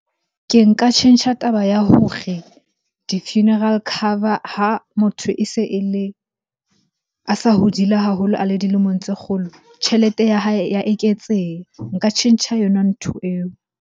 Ke nka tjhentjha taba ya hore di-funeral cover ha motho e se e le, a sa hodile haholo a le dilemong tse kgolo. Tjhelete ya hae ya eketseha. Nka tjhentjha yona ntho eo.